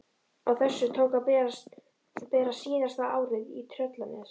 Á þessu tók að bera síðasta árið í Tröllanesi.